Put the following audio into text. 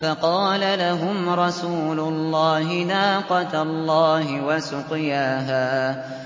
فَقَالَ لَهُمْ رَسُولُ اللَّهِ نَاقَةَ اللَّهِ وَسُقْيَاهَا